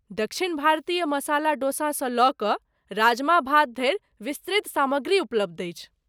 दक्षिण भारतीय मसाला डोसा सँ लऽ कऽ राजमा भात धरि विस्तृत सामग्री उपलब्ध अछि।